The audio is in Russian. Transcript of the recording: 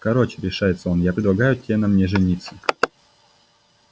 короче решается он я предлагаю те на мне жениться